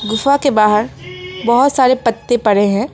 गुफा के बाहर बहुत सारे पत्ते पड़े हैं।